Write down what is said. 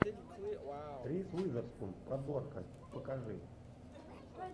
риз уизерспун подборка покажи